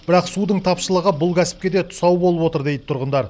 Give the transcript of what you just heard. бірақ судың тапшылығы бұл кәсіпке де тұсау болып отыр дейді тұрғындар